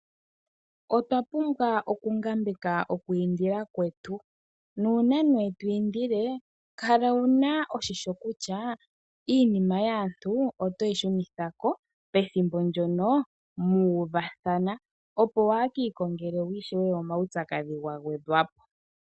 Otwa pumbwa okungambeka oku indila kwetu. Nuuna to indile kala wu na oshimpwiyu kutya iinima yaantu oto yi shunitha ko pethimbo ndyono mu uvathana, opo waa ki ikongele ishewe omaupyakadhi ga gwedhwa po.